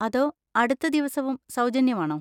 അതോ അടുത്ത ദിവസവും സൗജന്യമാണോ?